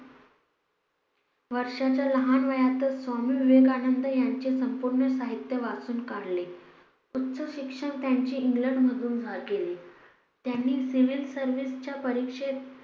वर्षाच्या लहान वयातच स्वामी विवेकानंद यांचे पूर्ण साहित्य वाचून काले उच्च शिक्षण त्यांचे इंग्लंड मधून झा केले त्यांनी civil services च्या परीक्षेत